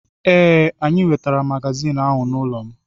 Ee, ị wetara magazin ahụ n'ụlọ m.